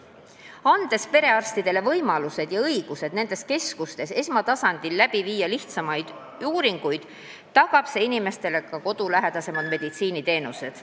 Kui anname perearstidele võimalused ja õigused nendes keskustes esmatasandil lihtsamaid uuringuid läbi viia, siis tagame inimestele kodulähedasemad meditsiiniteenused.